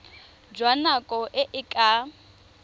jwa nako e e ka